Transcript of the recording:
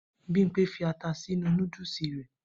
Bimpe fi ata sínú nódúsì rẹ.